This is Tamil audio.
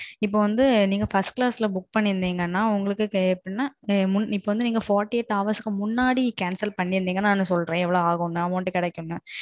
இப்போ வந்து நீங்க First Class ல Book பண்ணிருதீங்க நா நாற்பத்து எட்டு மணிநேரத்துக்கு முன்னாடி Cancel பண்ணீர்தாள் சொல்றேன் இவ்ளோ கிடைக்கும்